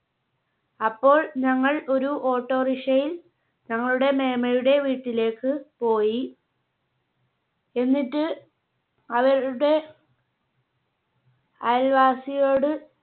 അപ്പോൾ ഞങ്ങൾ ഒരു auto rickshaw യിൽ ഞങ്ങളുടെ മേമ്മയുടെ വീട്ടിലേക്ക് പോയി. എന്നിട്ട് അവരുടെ അയൽവാസിയോട്